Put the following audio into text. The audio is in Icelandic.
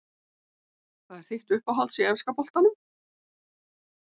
Hvað er þitt uppáhaldslið í enska boltanum?